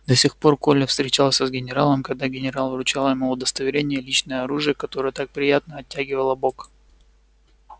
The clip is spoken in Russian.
до сих пор коля встречался с генералом когда генерал вручал ему удостоверение и личное оружие которое так приятно оттягивало бок